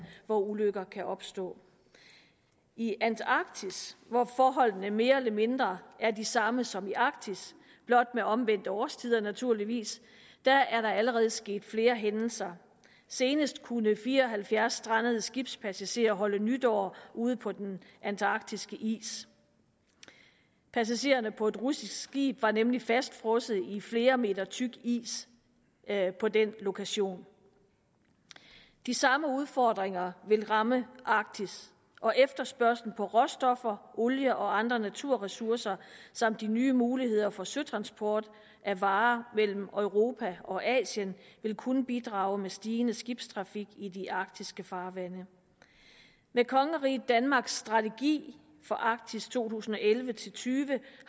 hvor ulykker kan opstå i antarktis hvor forholdene mere eller mindre er de samme som i arktis blot med omvendte årstider naturligvis er der allerede sket flere hændelser senest kunne fire og halvfjerds strandede skibspassagerer holde nytår ude på den antarktiske is passagererne på et russisk skib var nemlig fastfrosset i flere meter tyk is på den lokation de samme udfordringer vil ramme arktis og efterspørgslen på råstoffer olie og andre naturressourcer samt de nye muligheder for søtransport af varer mellem europa og asien vil kunne bidrage med stigende skibstrafik i de arktiske farvande med kongeriget danmarks strategi for arktis to tusind og elleve til tyve